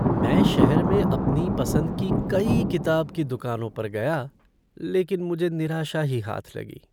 मैं शहर में अपनी पसंद की कई किताब की दुकानों पर गया लेकिन मुझे निराशा ही हाथ लगी।